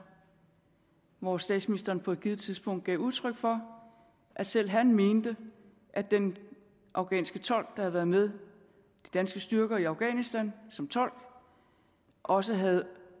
hvor statsministeren på et givet tidspunkt gav udtryk for at selv han mente at den afghanske tolk havde været med de danske styrker i afghanistan som tolk også havde